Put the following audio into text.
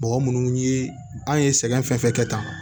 Mɔgɔ munnu ye an ye sɛgɛn fɛn fɛn kɛ tan